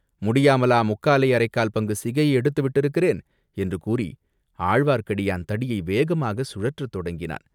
"முடியாமலா முக்காலே அரைக்கால் பங்கு சிகையை எடுத்து விட்டிருக்கிறேன்?" என்று கூறி ஆழ்வார்க்கடியான் தடியை வேகமாகச் சுழற்றத் தொடங்கினான்.